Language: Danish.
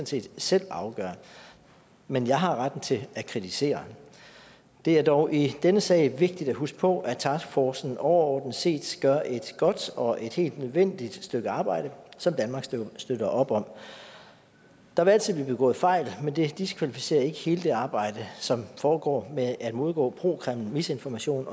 set selv afgøre men jeg har retten til at kritisere det er dog i denne sag vigtigt at huske på at taskforcen overordnet set gør et godt og et helt nødvendigt stykke arbejde som danmark støtter op om der vil altid blive begået fejl men det diskvalificerer ikke hele det arbejde som foregår med at modgå pro kreml misinformation